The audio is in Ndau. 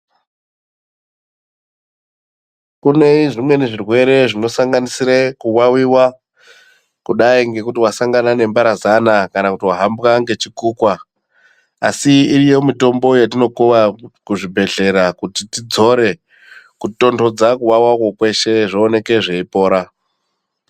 Kune zvimweni zvirwere zvinosanganisire kuwawiwa kudai ngekuti wasangana nemharazana kana kuti wahambwa ngechikukwa asi iriyo mitombo yatinokuwa kuzvibhedhlera kuti tidzore kutontodza kuwawakwo kweshe zvioneke zveipora.